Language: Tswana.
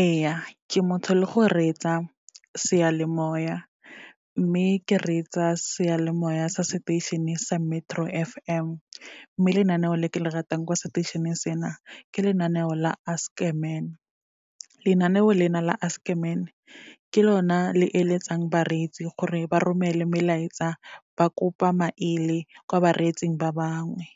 Ee, ke motho le go reetsa seyalemoya, mme ke reetsa seyalemoya sa seteišene sa Metro F_M, mme lenaneo le ke le ratang kwa seteišeneng sena ke lenaneo la Ask a Man. Lenaneo lena la Ask a Man, ke lona le eletsang bareetsi gore ba romele melaetsa, ba kopa maele kwa bareetsing ba bangwe,